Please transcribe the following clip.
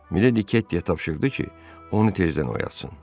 Miledi Kettiyə tapşırdı ki, onu tezdən oyatsın.